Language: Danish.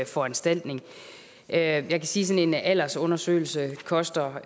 foranstaltning jeg kan sige at sådan en aldersundersøgelse koster